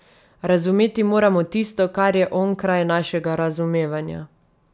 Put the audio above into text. Razumeti moramo tisto, kar je onkraj našega razumevanja.